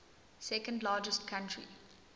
second largest country